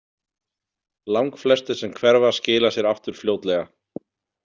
Langflestir sem hverfa skila sér aftur fljótlega.